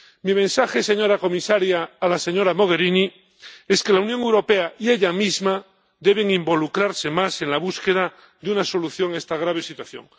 Mi mensaje, señora comisaria, a la señora Mogherini, es que la Unión Europea y ella misma deben involucrarse más en la búsqueda de una solución a esta grave situación.